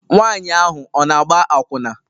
Nwanyị ahụ ọ na-agba akwụna?